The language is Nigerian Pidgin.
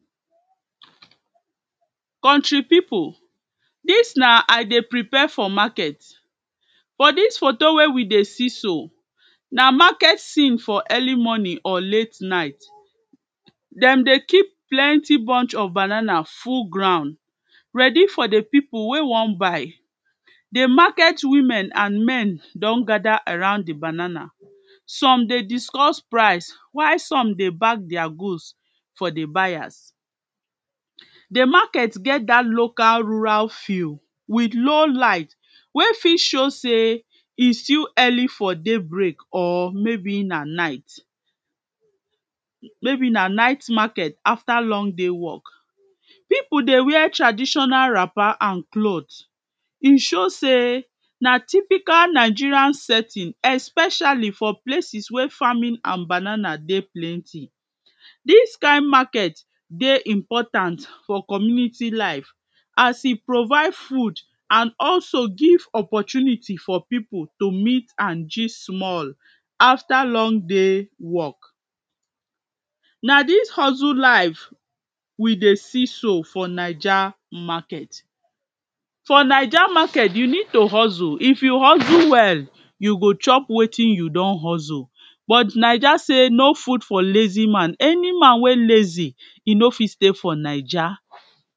Country people, dis na I dey prepare for market. For dis photo wey we dey see so, na market scene for early morning or late night. Dem dey keep plenty bunch of banana full ground ready for di people wey wan buy. Di market women and men don gather around di banana. Some dey discuss price while some dey bag their goods for di buyers. Di market get that local rural field with low light wey fit show say e still early for daybreak or maybe na night. Maybe na night market after long day work. People dey wear traditional wrapper and clothes. E show say na typical Nigerian setting especially for places wey farming and banana dey plenty. Dis kain market dey important for community life as e provide food and also give opportunity for people to meet and gist small after long day work. Na dis hustle life we dey see so for Naija market. For Naija market, you need to hustle. If you hustle well, you go chop wetin you don hustle but Naija say no food for a lazy man. Any man wey lazy, e no fit stay for Naija.